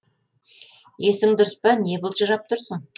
есің дұрыс па не былжырап тұрсың